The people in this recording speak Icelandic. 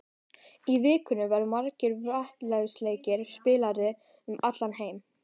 Í vikunni verða margir vináttulandsleikir spilaðir um allan heim.